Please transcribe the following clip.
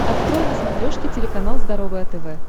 открой на смотрешке телеканал здоровое тв